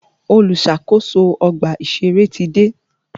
Olùṣàkóso ọgbà ìṣẹ̀rẹ́ ti dé.